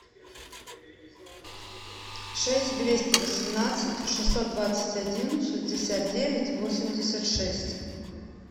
шесть двести восемнадцать шестьсот двадцать один шестьдесят девять восемьдесят шесть